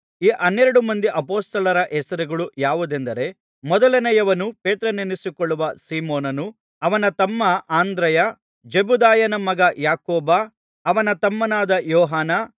ಈ ಹನ್ನೆರಡು ಮಂದಿ ಅಪೊಸ್ತಲರ ಹೆಸರುಗಳು ಯಾವುವೆಂದರೆ ಮೊದಲನೆಯವನು ಪೇತ್ರನೆನಿಸಿಕೊಳ್ಳುವ ಸೀಮೋನನು ಅವನ ತಮ್ಮ ಅಂದ್ರೆಯ ಜೆಬೆದಾಯನ ಮಗ ಯಾಕೋಬ ಅವನ ತಮ್ಮನಾದ ಯೋಹಾನ